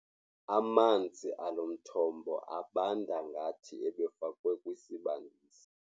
Amanzi alo mthombo abanda ngathi ebefakwe kwisibandisi.